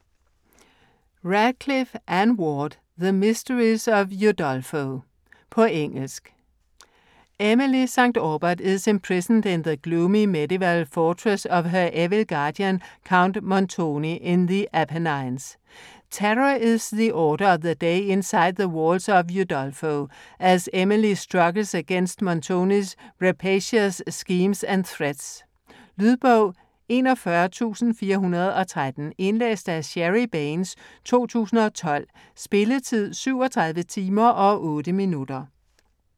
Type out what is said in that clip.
Radcliffe, Ann Ward: The mysteries of Udolpho På engelsk. Emily St Aubert is imprisoned in the gloomy medieval fortress of her evil guardian, Count Montoni, in the Apennines. Terror is the order of the day inside the walls of Udolpho, as Emily struggles against Montoni's rapacious schemes and threats. Lydbog 41413 Indlæst af Sherry Baines, 2012. Spilletid: 37 timer, 8 minutter.